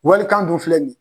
Walikan dun filɛ nin ye.